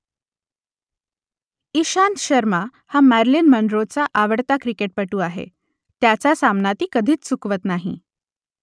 इशांत शर्मा हा मॅरिलिन मनरोचा आवडता क्रिकेटपटू आहे त्याचा सामना ती कधीच चुकवत नाही